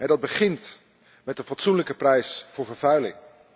Dat begint met een fatsoenlijke prijs voor vervuiling.